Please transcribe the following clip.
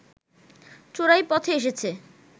চোরাই পথে এসেছে